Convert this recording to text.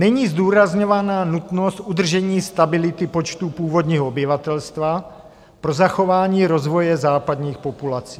Není zdůrazňována nutnost udržení stability počtu původního obyvatelstva pro zachování rozvoje západních populací.